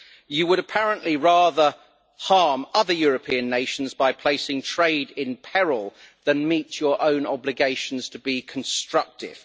You would apparently rather harm other European nations by placing trade in peril than meet your own obligations to be constructive.